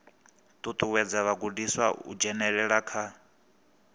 ṱuṱuwedza vhagudiswa u dzhenelela kha